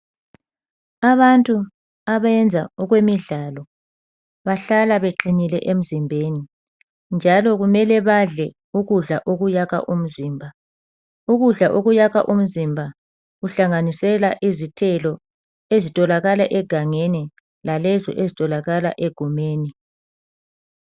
Abantu abayenza okwemidlalo bahlala beqinile emzimbeni njalo kumele badle ukudla okuyakha umzimba. Ukudla okuyakha umzimba kuhlanganisela izithelo ezitholakala egangeni lalezi ezitholakala egumeni.